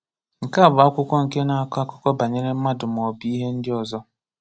Nke a bụ akwụkwọ nke na-akọ akụkọ banyere mmadụ maọbụ ihe ndị ọzọ.